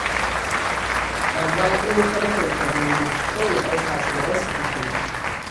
Amma in ka mutunta dolo, sai ya ɗauka tsoronsa kake ji.